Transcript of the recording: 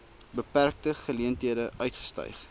beperkte geleenthede uitgestyg